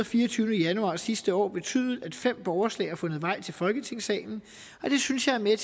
fireogtyvende januar sidste år betydet at fem borgerforslag har fundet vej til folketingssalen og det synes jeg er med